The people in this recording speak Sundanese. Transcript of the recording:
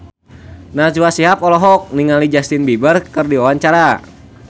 Najwa Shihab olohok ningali Justin Beiber keur diwawancara